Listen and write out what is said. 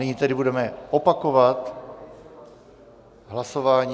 Nyní tedy budeme opakovat hlasování.